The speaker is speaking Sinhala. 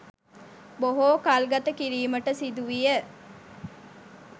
බොහෝ කල්ගත කිරීමට සිදු විය.